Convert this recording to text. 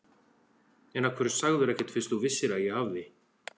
En af hverju sagðirðu ekkert fyrst þú vissir að ég hafði.